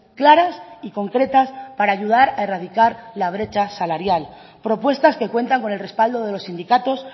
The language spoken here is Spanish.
claras y concretas para ayudar a erradicar la brecha salarial propuestas que cuentan con el respaldo de los sindicatos